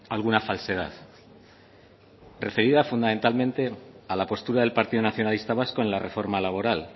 alguna falsedad referida fundamentalmente a la postura del partido nacionalista vasco en la reforma laboral